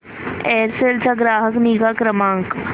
Aircel चा ग्राहक निगा क्रमांक